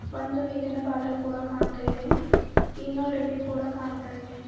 ಒಂದು ನೀರಿನ ಬಾಟಲ್ ಕೂಡ ಕಾಣ್ತಾ ಇದೆ ಈನೋ ಡಬ್ಬಿ ಕೂಡ ಕಾಣ್ತಾ ಇದೆ.